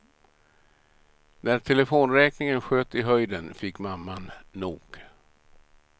När telefonräkningen sköt i höjden fick mamman nog.